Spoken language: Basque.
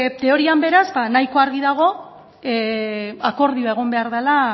teorian beraz nahiko argi dago akordioa egon behar dela